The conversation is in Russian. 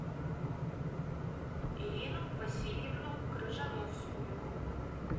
ирину васильевну крыжановскую